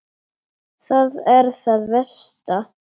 Það er það versta.